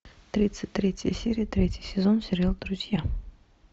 тридцать третья серия третий сезон сериал друзья